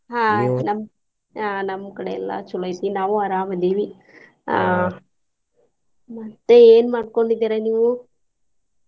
ಆಹ್ ನಮ್ಮ್ ನಮ್ಮ್ ಕಡೆ ಎಲ್ಲಾ ಚೊಲೋ ಐತಿ ನಾವ್ ಅರಾಮ್ ಅದೇವಿ ಮತ್ತೆ ಏನ್ ಮಾಡ್ಕೊಂಡಿದಿರಾ ನೀವು?